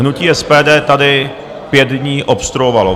Hnutí SPD tady pět dní obstruovalo.